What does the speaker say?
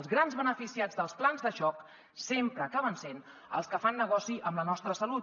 els gran beneficiats dels plans de xoc sempre acaben sent els que fan negoci amb la nostra salut